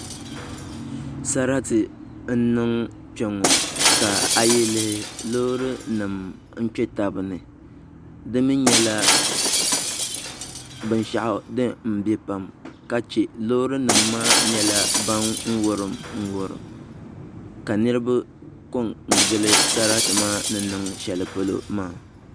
Sarati n niŋ kpɛŋŋɔ ka a yi lihi loori nim n kpɛ tabi ni di mii nyɛla binshaɣu din biɛ pam ka chɛ loori nim maa nyɛla din wurim wurim ka niraba ko n gili sarati maa ni niŋ shɛli polo maa